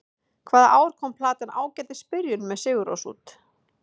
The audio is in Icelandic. Hvaða ár kom platan Ágætis byrjun, með Sigurrós út?